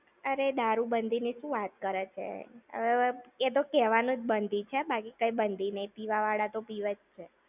અરે દારૂ બંધી ની શું વાત કરે છે? એ તો કેવાનું જ છે! એ તો કેવાનું જ બંધી છે, બાકી કઈ બંધી નઈ, પીવા વાળા તો પીવે જ છે!